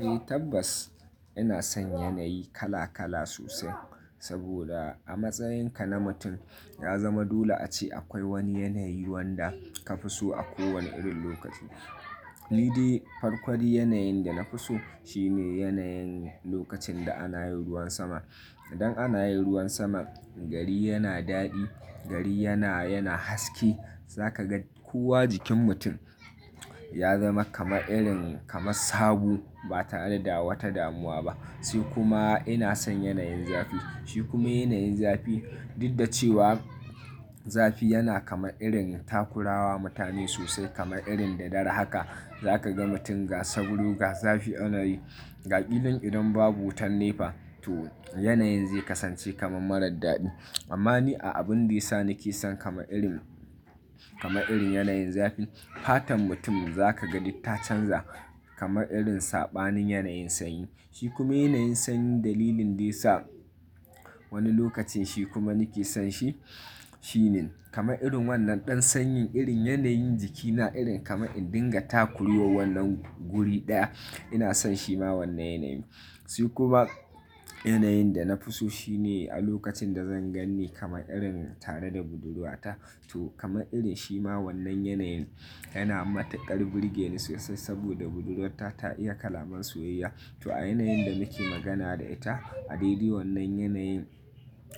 Eh tabbas ina son yanayi kala kala sosai, saboda a matsayinka na mutum ya zama dole ace akwai wani yanayi wanda ka fi so a kowane irin lokaci. Nidai farko yanayin da na fi so shine yanayin lokacin da ana yi ruwan sama. Idan ana yi ruwan sama gari yana daɗi, gari yana, yana haske za ka ga kowa jikin mutum ya zama kamar irin kama sabo ba tare da wata damuwa ba. Sai kuma ina son yanayin zafi. Shi kuma yanayin zafi, duk da cewa zafi yana kamar irin takurawa mutane sosai kamar irin da dare haka za ka ga mutum ga sauro, ga zafi ana yi ga kilan idan babu wutan nefa to yanayin zai kasance kamar marar daɗi. Amma ni a abin da ya sa nake son kamar irin, kamar irin yanayin zafi fatan mutum za ka ga duk ta canza kama irin saɓanin yanayin sanyi. Shi kuma yanayin sanyi dalilin da ya sa wani lokacin shi kuma nake son shi shine kamar irin wannan ɗan sanyin irin yanayin jikina irin kamar in dinga takure wa wannan guri ɗaya ina son shi ma wannan yanayin. Shi kuma yanayin da na fi so shine a lokacin da zan ganni kamar irin tare da budurwata to kamar irin shi ma wannan yanayin yana matuƙar burge ni sosai saboda budurwata ta iya kalaman soyayya. To a yanayin da muke magana da ita a dai dai wannan yanayin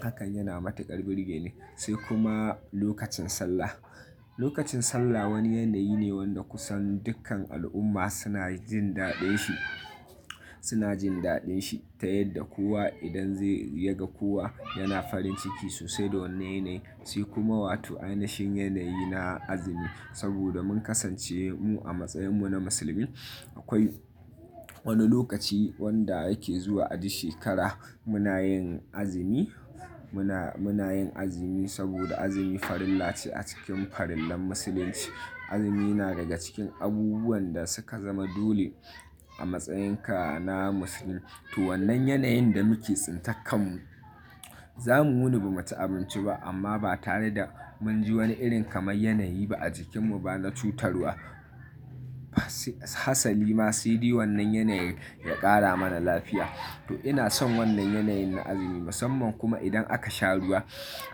hakan yana matuƙar burge ni. Sai kuma lokacin sallah. Lokacin sallah wani yanayi ne wanda kusan dukkan al'umma suna jin daɗin shi, suna jin daɗin shi ta yadda kowa idan zai ya ga kowa yana farin ciki sosai da wannan yanayi. Sai kuma wato ainashin yanayi na azumi saboda mun kasance mu a matsayinmu na musulmi. Akwai wani lokaci wanda yake zuwa a duk shekara muna yin azumi, muna, muna yin azumi saboda azumi farilla ce a cikin farillan musulunci. Azumi yana daga cikin abubuwan da suka zama dole a matsayinka na musulmi. To wannan yanayin da muke tsintar kan mu za mu wuni ba mu ci abinci ba amma ba tare da mun ji wani irin kamar yanayi ba a jikinmu ba na cutarwa. Fa hasali ma sai dai wannan yanayin ya ƙara mana lafiya. To ina son wannan yanayin na azumi musamman kuma idan aka sha ruwa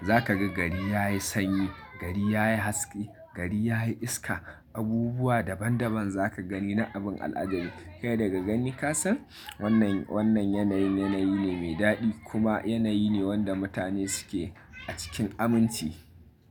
za ka ga gari ya yi sanyi, gari ya yi haske, gari ya yi iska abubuwa daban daban za ka gani na abun al'ajabi. Kai daga gani ka san wannan, wannan yanayin yanayi ne mai daɗi kuma yanayi ne wanda mutane suke a cikin aminci.